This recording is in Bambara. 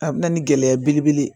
A bɛ na ni gɛlɛya belebele ye